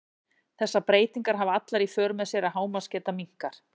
þessar breytingar hafa allar í för með sér að hámarksgeta minnkar